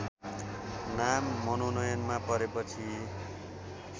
नाम मनोनयनमा परेपछि